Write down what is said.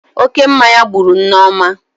Oke mmanya gburu Nneoma